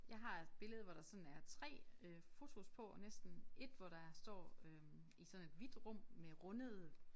Jeg har et billede hvor der sådan er 3 øh fotos på og næsten 1 hvor der står øh i sådan et hvidt rum med rundede